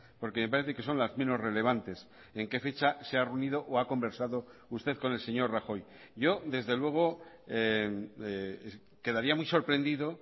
porque me parece que son las menos relevantes en qué fecha se ha reunido o ha conversado usted con el señor rajoy yo desde luego quedaría muy sorprendido